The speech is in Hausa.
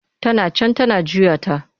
Tana can tana juya ta.